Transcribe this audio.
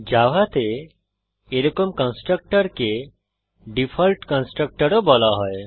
জাভাতে এরকম কন্সট্রকটরকে ডিফল্ট কন্সট্রকটরও বলা হয়